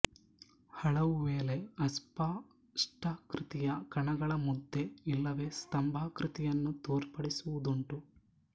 ಹಲವು ವೇಳೆ ಅಸ್ಪಷ್ಟಾಕೃತಿಯ ಕಣಗಳ ಮುದ್ದೆ ಇಲ್ಲವೆ ಸ್ತಂಭಾಕೃತಿಯನ್ನು ತೋರ್ಪಡಿಸುವುದುಂಟು